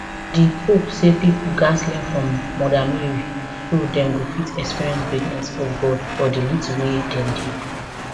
di pope say pipo gatz learn from mother mary so dem go fit experience greatness of god for di little wey dem dey do